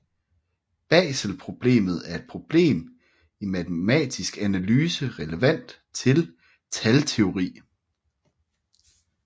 Baselproblemet er et problem i matematisk analyse relevant til talteori